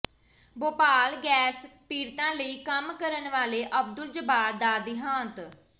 Bhopal gas ਪੀੜਤਾਂ ਲਈ ਕੰਮ ਕਰਨ ਵਾਲੇ ਅਬਦੁੱਲ ਜੱਬਾਰ ਦਾ ਦਿਹਾਂਤ